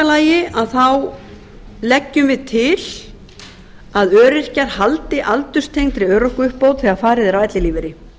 lagi leggjum við til að öryrkjar haldi aldurstengdri örorkuuppbót þegar farið er á ellilífeyri